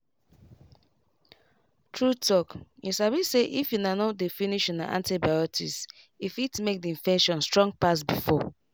true talkyou sabi say if una no dey finish una antibiotics e fit make the infection strong pass before.